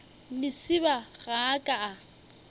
lesibana ga a ka a